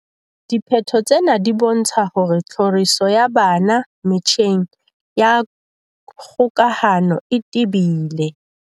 "Diphetho tsena di bontsha hore tlhoriso ya bana metjheng ya kgokahano e tebile."